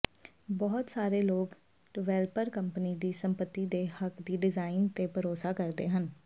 ਬਹੁਤ ਸਾਰੇ ਲੋਕ ਡਿਵੈਲਪਰ ਕੰਪਨੀ ਦੀ ਸੰਪਤੀ ਦੇ ਹੱਕ ਦੀ ਡਿਜ਼ਾਇਨ ਤੇ ਭਰੋਸਾ ਕਰਦੇ ਹਨ